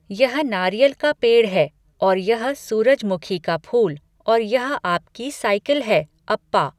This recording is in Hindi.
यह नारियल का पेड़ है, औेर यह सूरजमुखी का फूल और यह आपकी साइकिल है, अप्पा।